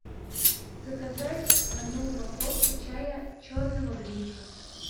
заказать одну упаковку чая черного гринфилд